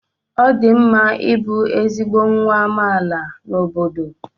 ọ dị mma ịbụ ezigbo nwa amaala n'obodo